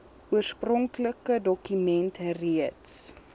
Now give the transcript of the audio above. oorspronklike dokument reeds